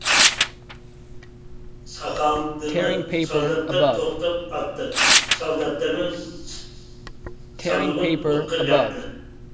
сақалдыны салдаттар топтап атты салдаттарды самолет отқа жақты